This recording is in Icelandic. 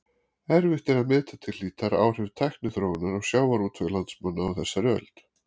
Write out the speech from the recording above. Erfitt er að meta til hlítar áhrif tækniþróunar á sjávarútveg landsmanna á þessari öld.